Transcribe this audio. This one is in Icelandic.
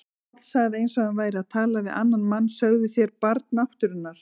Páll sagði eins og hann væri að tala við annan mann: Sögðuð þér Barn náttúrunnar?